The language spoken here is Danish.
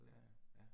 Ja ja, ja